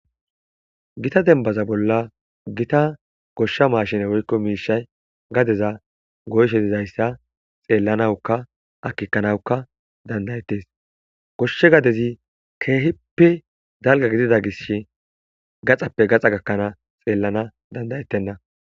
Gitta demibaza bolla gosha mashine woyikko gadeza goyishe deyissa xelanawuka akekanawuka dandae'tesi. Gosha gadezi kehippe daligga giddida gisho gaxappe gaxa gakanawu xelanawuka danda'etena.